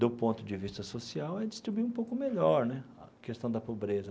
do ponto de vista social, é distribuir um pouco melhor né a questão da pobreza.